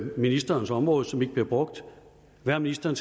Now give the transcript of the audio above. ministerens område som ikke bliver brugt hvad har ministeren